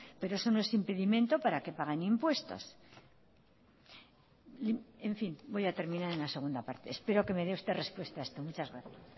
pero eso no es impedimento para que paguen impuestos en fin voy a terminar en la segunda parte espero que me dé usted respuesta a esto muchas gracias